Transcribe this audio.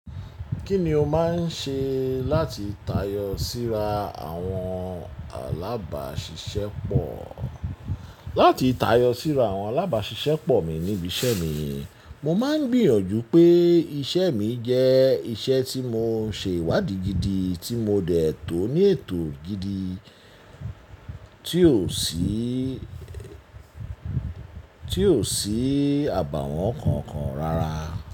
Kí ni o máa ń ṣe láti tayọ síra àwọn alábàáṣiṣẹ́ pọ̀? Láti tayọ síra àwọn alábàáṣiṣẹ́ pọ̀ mi níbi iṣẹ́ mi, mo máa ń gbìyànjú pé iṣẹ́ mi jẹ́ iṣẹ́ tí mo ń ṣe ìwádìí gidi, tí mo dẹ̀ tò ó ní ètò gidi tí ò sí àbàwọ́n kankan rárá.